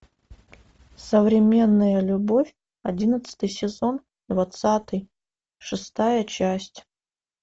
современная любовь одиннадцатый сезон двадцатый шестая часть